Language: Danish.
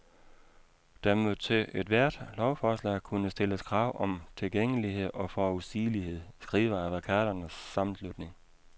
Der må til ethvert lovforslag kunne stilles krav om tilgængelighed og forudsigelighed, skriver advokaternes sammenslutning.